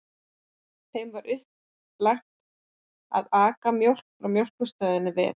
Þeim var uppálagt að aka mjólk frá Mjólkurstöðinni við